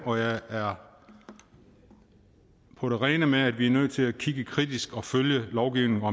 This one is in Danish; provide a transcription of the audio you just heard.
og jeg er på det rene med at vi er nødt til at kigge kritisk og følge lovgivningen og